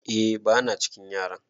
eh bana cikin yaran